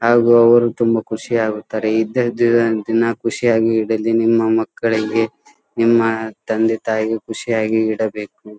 ಹಾಗು ಅವರು ತಮ್ಮ ಖುಷಿಯಾಗುತ್ತಾರೆ ಇದ್ದದೆ ದಿನ ಖುಷಿಯಾಗುತ್ತಾರೆ ಖುಷಿಯಾಗಿ ಇಡಲಿ ನಿಮ್ಮ ಮಕ್ಕಳಲ್ಲಿ ನಿಮ್ಮ ತಂದೆ ತಾಯಿ ಗೂ ಖುಷಿಯಾಗಿ ಇಡಬೇಕು.